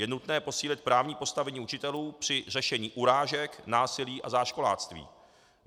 Je nutné posílit právní postavení učitelů při řešení urážek, násilí a záškoláctví.